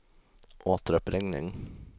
återuppringning